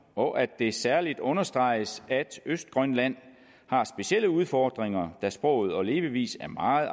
og at det særlig understreges at østgrønland har specielle udfordringer da sproget og levevisen er meget